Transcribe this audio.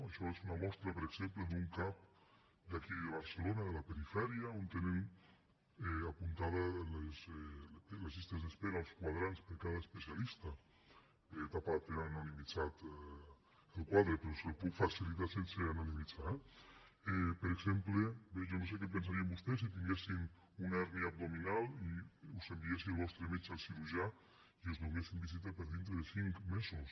això és una mostra per exemple d’un cap d’aquí de barcelona de la perifèria on tenen apuntades les llistes d’espera els quadrants per a cada especialista bé tapat tenen anonimitzat el quadre però els el puc facilitar sense anonimitzar eh per exemple bé jo no sé què pensarien vostès si tinguessin una hèrnia abdominal i us enviés el vostre metge al cirurgià i us donessin visita per dintre de cinc mesos